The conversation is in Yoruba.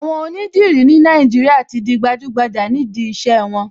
Àwọn onídìrí ní Nàìjíríà tí di gbajúgbajà nídìí iṣẹ́ wọn.